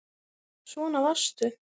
Svona varstu.